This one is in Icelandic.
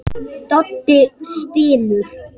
Doddi stynur.